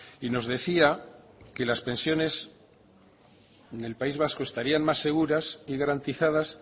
y nos decía que las pensiones en el país vasco estarían más seguras y garantizadas